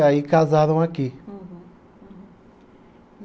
Aí casaram aqui. Uhum.